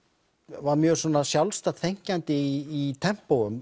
var mjög sjálfstætt þenkjandi í